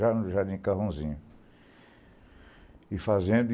Já no Jardim Carrãozinho.